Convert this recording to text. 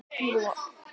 Hvert eruð þið að fara?